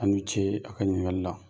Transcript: Aw ni cee a' ka ɲininkali la!